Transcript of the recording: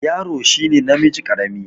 Yaro shi ne namiji ƙarami.